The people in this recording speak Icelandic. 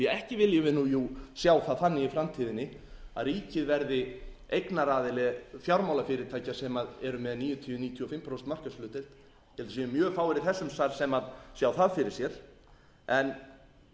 ekki viljum við jú sjá það þannig í framtíðinni að ríkið verði eignaraðili fjármálafyrirtækja sem eru með níutíu til níutíu og fimm prósenta markaðshlutdeild ég held að það séu mjög fáir í þessum sal sem sjá það fyrir sér en